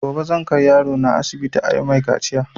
Gobe zan kai yaro na asibiti ayi mai kaciya